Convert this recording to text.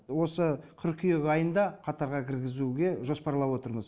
осы қыркүйек айында қатарға кіргізуге жоспарлап отырмыз